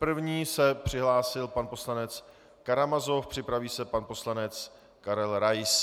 První se přihlásil pan poslanec Karamazov, připraví se pan poslanec Karel Rais.